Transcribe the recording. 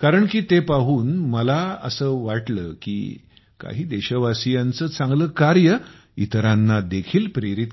कारण की ते पाहून मला असे वाटले की काही देशवासीयांचे चांगले कार्य इतरांना देखील प्रेरित करत आहे